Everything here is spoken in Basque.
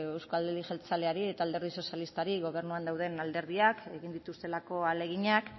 euzko jeltzaleari eta alderdi sozialistari gobernuan dauden alderdiak egin dituztelako ahaleginak